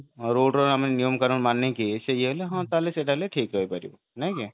road ର ଆମେ ନିୟମ କାନୁନ ମାନିକି ହଁ ସେଟା ତାହେଲେ ଠିକ ହେଇ ପାରିବ ନାଇଁ କି